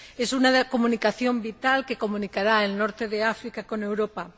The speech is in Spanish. Es una comunicación vital que comunicará el norte de África con Europa.